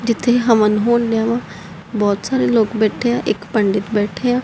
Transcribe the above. ਜਿਥੇ ਹਵਨ ਹੋਣ ਡਿਆਂ ਬਹੁਤ ਸਾਰੇ ਲੋਕ ਬੈਠੇ ਆ ਇੱਕ ਪੰਡਿਤ ਬੈਠੇ ਆ।